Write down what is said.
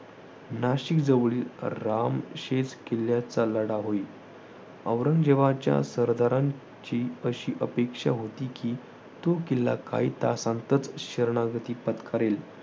नाशिकजवळील रामशेज किल्ल्याचा लढा होय. औरंगजेबाच्या सरदारांची अशी अपेक्षा होती की तो किल्ला काही तासांतच शरणागती पत्करेल.